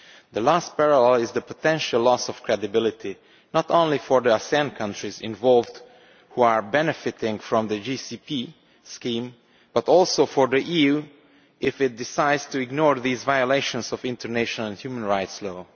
The last parallel is the potential loss of credibility, not only for the ASEAN countries involved who are benefiting from the GCP scheme, but also for the EU if it decides to ignore these violations of international human rights law.